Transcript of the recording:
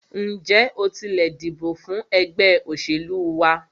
Ǹjẹ́ o tilẹ̀ dìbò fún ẹgbẹ́ òṣèlú wa?